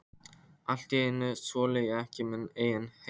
Allt í einu þoli ég ekki minn eigin hreim.